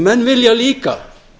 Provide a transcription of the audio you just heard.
menn vilja líka